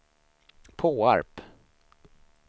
Påarp